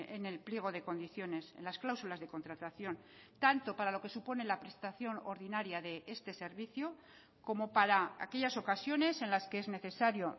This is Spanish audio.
en el pliego de condiciones en las cláusulas de contratación tanto para lo que supone la prestación ordinaria de este servicio como para aquellas ocasiones en las que es necesario